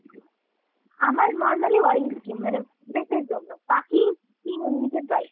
আমার normally oily skin। মানে face র জন্য বাকি skin এমনিতে dry।